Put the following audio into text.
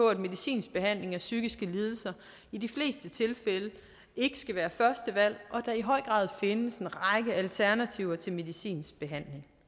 at medicinsk behandling af psykiske lidelser i de fleste tilfælde ikke skal være første valg og at der i høj grad findes en række alternativer til medicinsk behandling